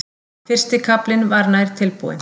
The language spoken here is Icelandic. Fyrsti kaflinn var nær tilbúinn.